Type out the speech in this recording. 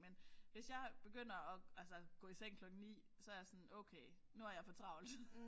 Men hvis jeg begynder at altså gå i seng kl 21 9 så er jeg sådan okay nu har jeg for travlt